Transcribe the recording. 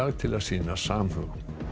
til að sýna samhug